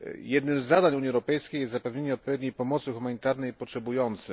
Jednym z zadań Unii Europejskiej jest zapewnienie odpowiedniej pomocy humanitarnej potrzebującym.